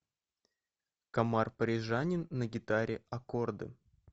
комар парижанин на гитаре аккорды